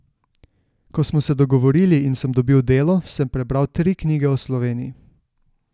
Ko smo se dogovorili in sem dobil delo, sem prebral tri knjige o Sloveniji.